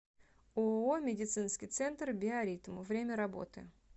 ооо медицинский центр биоритм время работы